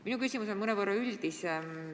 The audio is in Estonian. Minu küsimus on mõnevõrra üldisem.